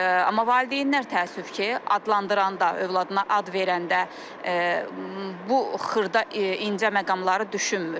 Amma valideynlər təəssüf ki, adlandıranda, övladına ad verəndə bu xırda incə məqamları düşünmür.